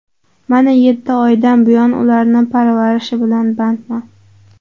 Mana yetti oydan buyon ularni parvarishi bilan bandman.